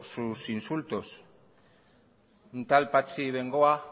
sus insultos un tal patxi bengoa